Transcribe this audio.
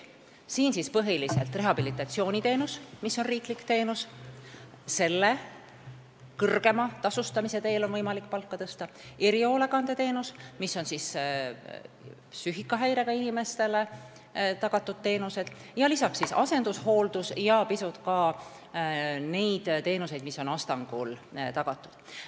Siia alla lähevad rehabilitatsiooniteenus – riiklik teenus, mille kõrgema tasustamisega on võimalik palka tõsta –, erihoolekandeteenused ehk psüühikahäirega inimestele tagatud teenused, asendushooldus ja ka mõned Astangul pakutavad teenused.